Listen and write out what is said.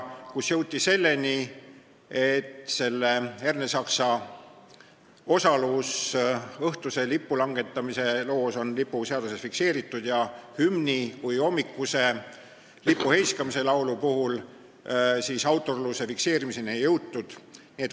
Siis jõuti selleni, et Ernesaksa osalus õhtuse lipulangetamise loos on lipuseaduses fikseeritud, aga hümni kui hommikuse lipuheiskamise laulu autorluse fikseerimiseni ei jõutud.